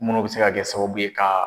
Munnu bɛ se ka kɛ sababu ye ka